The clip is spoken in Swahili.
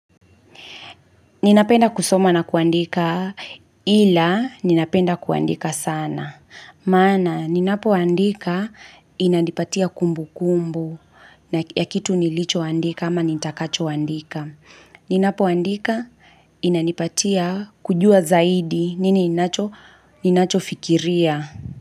Ninapenda kusoma na kuandika ila ninapenda kuandika sana. Maana ninapoandika inanipatia kumbu kumbu ya kitu nilicho andika ama nitakacho andika. Ninapoandika inanipatia kujua zaidi nini inacho fikiria.